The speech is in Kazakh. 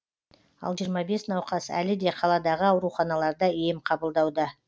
ал жиырма бес науқас әлі де қаладағы ауруханаларда ем қабылдауда